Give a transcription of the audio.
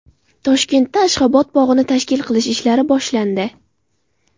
Toshkentda Ashxobod bog‘ini tashkil qilish ishlari boshlandi.